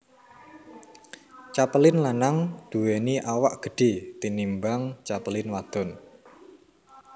Capelin lanang duwéni awak gedhe tinimbang capelin wadon